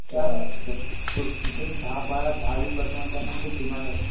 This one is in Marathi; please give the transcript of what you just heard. त्या पुढचे दहा-वीस वर्षांमध्ये त्यांना खूप डिमांड असेल.